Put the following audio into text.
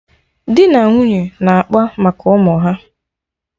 Dị na nwunye na-akpa maka ụmụ ha